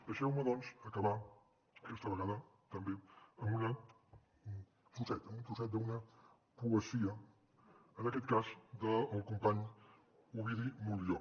deixeu me doncs acabar aquesta vegada també amb un trosset d’una poesia en aquest cas del company ovidi montllor